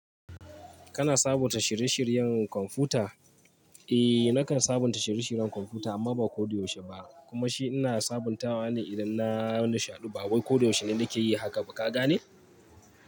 Kana sabunta shirye shiryen kwamfuta? Eh nakan sabunta shirye shiryen kwamfuta amma ba kodayaushe ba. Kuma shi ina sabuntawa ne idan na nu shaɗu ba wai kodayaushe ne nake yi haka. Baka gane?